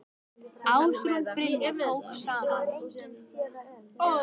Ásrún Brynja tók saman.